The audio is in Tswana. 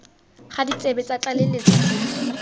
ga ditsebe tsa tlaleletso tse